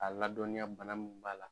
A ladɔnniya bana min b'a la